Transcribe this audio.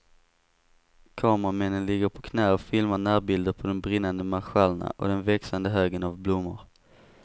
Kameramännen ligger på knä och filmar närbilder på de brinnande marschallerna och den växande högen av blommor.